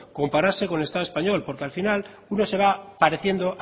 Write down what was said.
compararse con el estado español porque al final uno se va pareciendo